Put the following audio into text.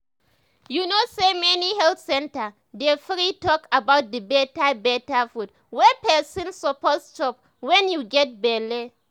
you know say many health centers dey free talk about the better better food wey person suppose chop when you get belle